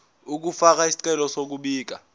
ukufaka isicelo sokubika